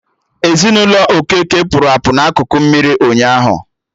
Ezinụlọ Okeke pụrụ apụ na akụkụ mmiri ụnyaahụ